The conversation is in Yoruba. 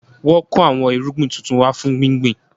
Wọn kò àwọn irúgbìn tuntun wá fún gbíngbin